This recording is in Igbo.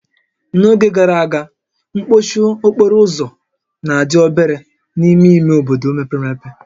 N'oge gara aga, mkpọchi okporo ụzọ na-adị obere n'ime ime obodo mepere emepe